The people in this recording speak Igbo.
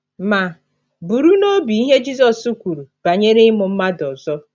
Ma, buru n’obi ihe Jizọs kwuru banyere imụ mmadụ ọzọ.